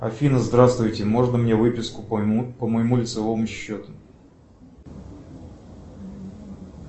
афина здравствуйте можно мне выписку по моему лицевому счету